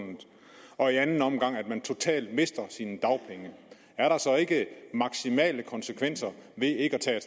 og i anden omgang ved at man totalt mister sine dagpenge er der så ikke maksimale konsekvenser ved ikke at tage